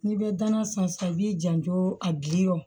N'i bɛ danasan sisan i b'i janto a biri o